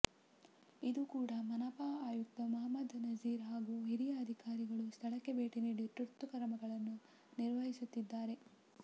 ಇಂದು ಕೂಡಾ ಮನಪಾ ಆಯುಕ್ತ ಮುಹಮ್ಮದ್ ನಝೀರ್ ಹಾಗೂ ಹಿರಿಯ ಅಧಿಕಾರಿಗಳು ಸ್ಥಳಕ್ಕೆ ಭೇಟಿ ನೀಡಿ ತುರ್ತು ಕ್ರಮಗಳನ್ನು ನಿರ್ದೇಶಿಸುತ್ತಿದ್ದಾರೆ